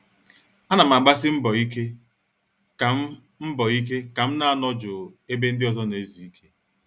A nam agbasi mbọ ike kam mbọ ike kam na- anọ jụụ ebe ndị ọzọ na-ezu ike.